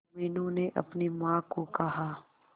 मीनू ने अपनी मां को कहा